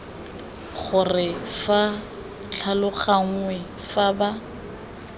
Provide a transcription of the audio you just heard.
gore ba tlhaloganngwe fa ba